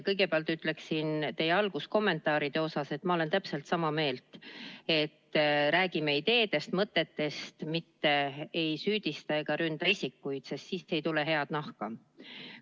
Kõigepealt ütleksin teie alguskommentaaride kohta, et ma olen täpselt sama meelt, et räägime ideedest, mõtetest, mitte ei süüdista ega ründa isikuid, sest siis ei tule head nahka.